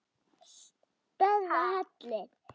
Stærðar hellir?